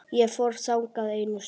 Ég fór þangað einu sinni.